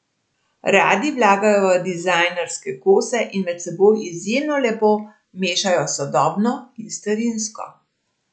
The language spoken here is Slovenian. Radi vlagajo v dizajnerske kose in med seboj izjemno lepo mešajo sodobno in starinsko.